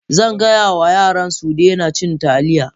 Zan gaya wa yarana su daina cin Taliya